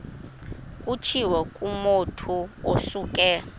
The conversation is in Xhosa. kutshiwo kumotu osuke